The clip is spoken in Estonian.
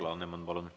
Alar Laneman, palun!